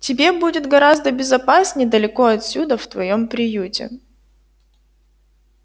тебе будет гораздо безопаснее далеко отсюда в твоём приюте